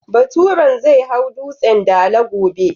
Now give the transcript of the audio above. Baturen zai hau Dutsen Dala gobe.